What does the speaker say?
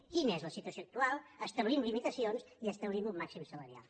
quina és la situació actual establim limitacions i establim un màxim salarial